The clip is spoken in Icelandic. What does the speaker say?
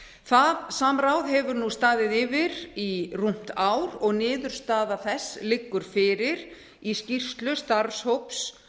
það samráð hefur nú staðið yfir í rúmt ár og niðurstaða þess liggur fyrir í skýrslu starfshóps